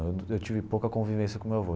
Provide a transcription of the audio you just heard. Eu tive pouca convivência com meu avô.